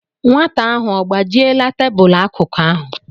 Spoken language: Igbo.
Nwata ahụ ọ gbajiela tebụlụ akụkụ ahụ?